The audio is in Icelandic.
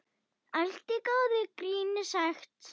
Allt í góðu gríni sagt.